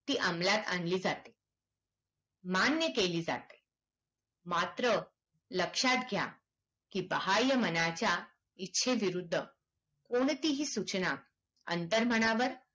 ती अमलात आणली जाते मान्य केली जाते मात्र लक्ष्यात घ्या की बहाय्य मनाच्या इछेविरुद्ध कोणतीही सूचना अंतर्मनावर